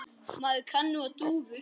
Maður kann nú á dúfur!